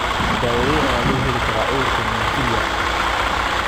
daawadee ayaa loo heli karaa cudurka Mentrier?